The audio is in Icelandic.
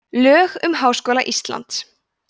lög um háskóla íslands